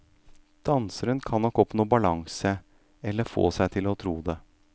Danseren kan nok oppnå balanse, eller få seg til å tro det.